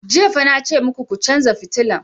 Jiya fa na ce maku ku chanza fitilan!